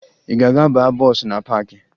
Ị ga-aga baa bọọsụ na paakị?